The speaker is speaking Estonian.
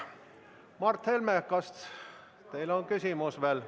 Mart Helme, kas teil on küsimus?